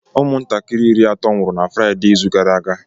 Ụmụntakịrị iri atọ nwụrụ na Fraide izu gara aga